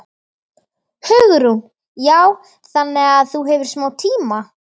Hugrún: Já, þannig að þú hefur smá tíma?